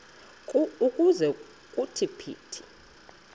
ukuze kuthi phithi